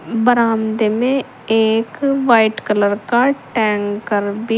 बरामदे में एक व्हाइट कलर टैंकर भी--